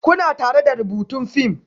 Kuna tare da rubutun fim?